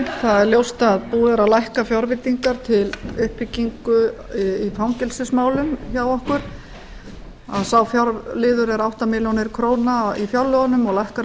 búið er að lækka fjárveitingar til uppbyggingar í fangelsismálum hjá okkur sá fjárlagaliður er átta milljónir króna í fjárlögunum og lækkar um